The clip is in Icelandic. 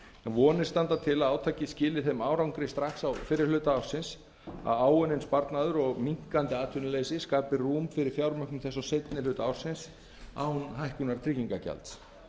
vonir standa til að átakið skili þeim árangri strax á fyrri hluta ársins að áunninn sparnaður og minnkandi atvinnuleysi skapi rúm fyrir fjármögnun þess á seinni hluta ársins án hækkunar tryggingagjalds